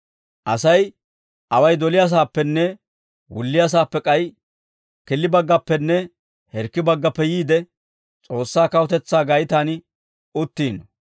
«Asay away doliyaasaappenne wulliyaasaappe, k'ay killibaggappenne hirkkibaggappe yiide, S'oossaa kawutetsaa gaytaan uttiino.